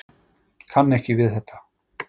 Kann ekki við þetta.